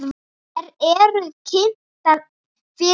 Þær eru kynntar fyrir honum.